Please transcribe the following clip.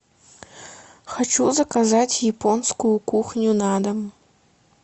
хочу заказать японскую кухню на дом